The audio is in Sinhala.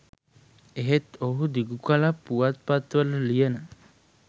එහෙත් ඔහු දිගුකලක් පුවත්පත්වලට ලියන